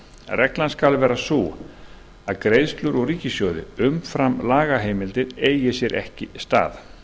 reglan skal vera sú að greiðslur úr ríkissjóði umfram lagaheimildir eigi sér ekki stað